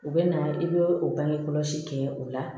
U bɛ na i bɛ o bange kɔlɔsi kɛ o la